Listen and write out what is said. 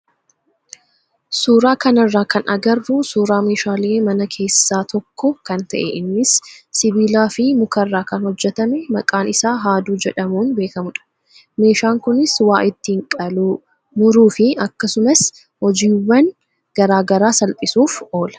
suuraa kanarraa kan agarru suuraa meeshaalee manaa keessaa tokko kan ta'e innis sibiilaa fi mukarraa kan hojjatame maqaan isaa haaduu jedhamuun beekamudha. Meeshaan kunis waa ittiin qaluu, muruu fi akkasum hojiiwwan garaagaraa salphisuuf oola.